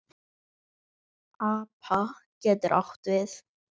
APA getur átt við